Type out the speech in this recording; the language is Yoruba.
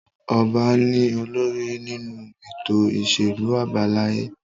Ọba ni olórí nínú ètò ìṣèlú àbáláyé.